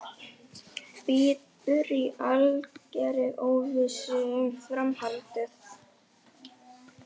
Bíður í algerri óvissu um framhaldið.